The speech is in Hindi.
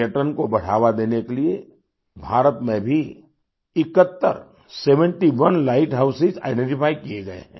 पर्यटन को बढ़ावा देने के लिए भारत में भी 71 सेवेंटी ओनलाइट हाउसों आइडेंटिफाई किये गए हैं